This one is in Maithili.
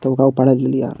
तब ओकरा उ --